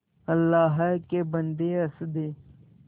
अल्लाह के बन्दे हंस दे